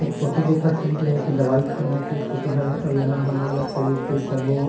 photo देखत हन ते ह एक दवाई खाना के फोटो हे अउ यहाँ हमन ल शरीर के सबो--